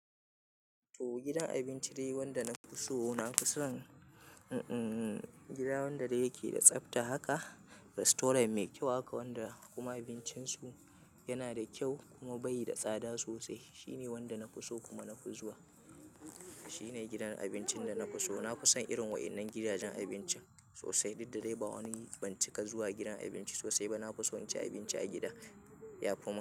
To gidan abinci dayi wanda na fi so. Na fi son, mm-mm, gida wanda yake da tsafta haka. Restaurant mai kyau haka wanda kuma abincin su yana da kyau kuma bayi da tsada sosai. Shine wanda na fi so kuma na fi zuwa. Shine gidan abincin da na fi so. Na fi son irin waɗannan gidajen abinci sosai. Dakda dai ba wani, ban cika zuwa gidan abinci sosai ba. Na fi son cin abinci a gida. Ya fi min.